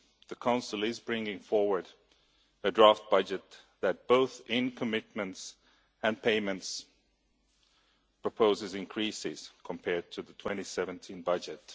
The Council is bringing forward a draft budget that, both in commitments and payments, proposes increases compared to the 2017 budget.